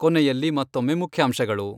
ಕೊನೆಯಲ್ಲಿ ಮತ್ತೊಮ್ಮೆ ಮುಖ್ಯಾಂಶಗಳು.